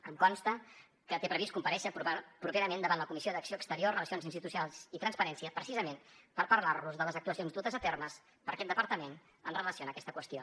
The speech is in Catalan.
em consta que té previst comparèixer properament davant la comissió d’acció exterior relacions institucionals i transparència precisament per parlar los de les actuacions dutes a terme per aquest departament en relació amb aquesta qüestió